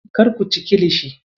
Kar ku ci kilishi.